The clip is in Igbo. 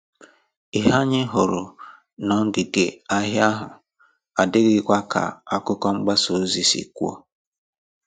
Ìhè anyị hụrụ n'òngìgè ahia ahụ adịghịkwa ka àkụ̀kọ̀ mgbasa ozi si kwuo